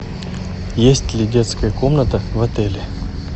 есть ли детская комната в отеле